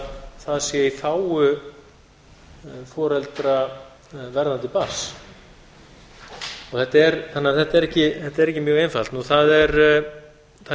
það sé í þágu foreldra verðandi barns þetta er ekki mjög einfalt það er líka hægt